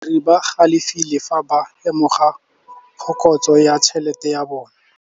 Badiri ba galefile fa ba lemoga phokotsô ya tšhelête ya bone.